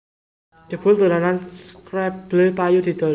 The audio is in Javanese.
Jebul dolanan scrabble payu didol